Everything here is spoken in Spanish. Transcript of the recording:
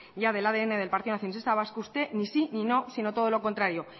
del adn del partido nacionalista vasco usted ni sí ni no sino todo lo contrario